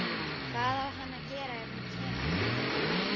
Hvað á hann að gera ef hún kemur ekki?